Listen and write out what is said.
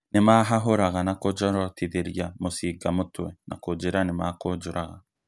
Nĩmahahũraga na kũnjorotithĩria mucinga mũtwe na kunjĩra nĩmakũnjũraga